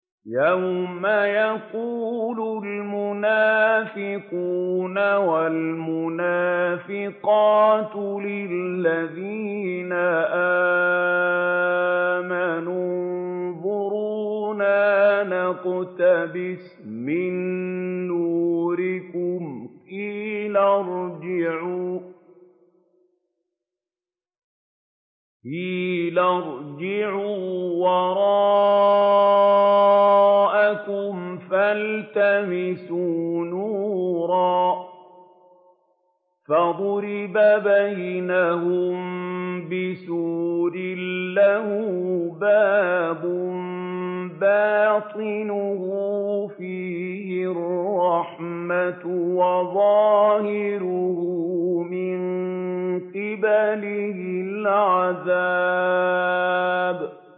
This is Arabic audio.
يَوْمَ يَقُولُ الْمُنَافِقُونَ وَالْمُنَافِقَاتُ لِلَّذِينَ آمَنُوا انظُرُونَا نَقْتَبِسْ مِن نُّورِكُمْ قِيلَ ارْجِعُوا وَرَاءَكُمْ فَالْتَمِسُوا نُورًا فَضُرِبَ بَيْنَهُم بِسُورٍ لَّهُ بَابٌ بَاطِنُهُ فِيهِ الرَّحْمَةُ وَظَاهِرُهُ مِن قِبَلِهِ الْعَذَابُ